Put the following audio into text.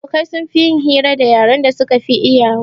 Abokai sun fi yin hira da yaren da suka fi iyawa